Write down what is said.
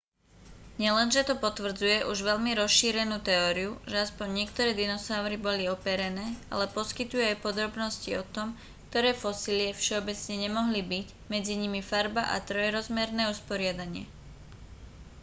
nielenže to potvrdzuje už veľmi rozšírenú teóriu že aspoň niektoré dinosaury boli operené ale poskytuje aj podrobnosti o tom ktoré fosílie všeobecne nemohli byť medzi nimi farba a trojrozmerné usporiadanie